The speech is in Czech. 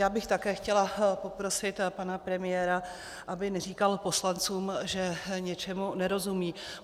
Já bych také chtěla poprosit pana premiéra, aby neříkal poslancům, že něčemu nerozumějí.